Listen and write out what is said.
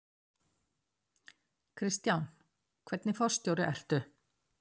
Kristján: Hvernig forstjóri ertu?